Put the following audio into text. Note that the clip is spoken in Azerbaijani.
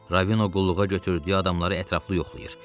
Ravino qulluğa götürdüyü adamları ətraflı yoxlayır.